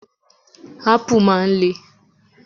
Ápù máa ń le.